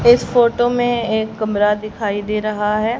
इस फोटो में एक कमरा दिखाई दे रहा है।